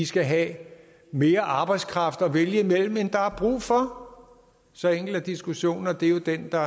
skal have mere arbejdskraft at vælge imellem end der er brug for så enkel er diskussionen og det er jo den der